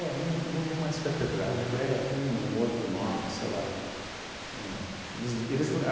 não não é mais catedrático, é tem um outro nome, sei lá. Tem um, eles eles a